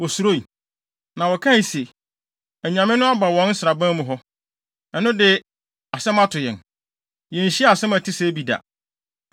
wosuroe. Na wɔkae se, “Anyame no aba wɔn nsraban mu hɔ. Ɛno de, asɛm ato yɛn! Yenhyiaa asɛm a ɛte sɛɛ bi da.